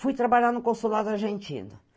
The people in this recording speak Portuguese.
Fui trabalhar no consulado argentino.